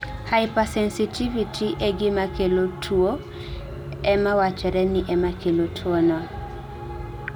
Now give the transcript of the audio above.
hypersensitivity e gimakelo tuwo ema wachore ni emakelo tuwono